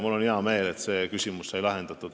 Mul on hea meel, et see küsimus sai lahendatud.